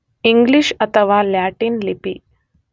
English ಅಥವಾ Latin ಲಿಪಿ